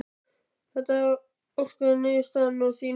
Þóra: Var þetta óska niðurstaðan að þínu mati?